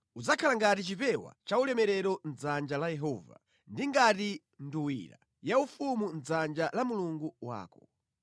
Udzakhala ngati chipewa chaulemerero mʼdzanja la Yehova, ndi ngati nduwira yaufumu mʼdzanja la Mulungu wako.